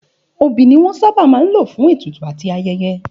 Òbí ni wọ́n sábà máa ń lò fún ètùtù àti ayẹyẹ